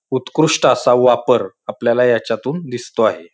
उत्कृष्ट असा वापर आपल्याला याच्यातून दिसतो आहे.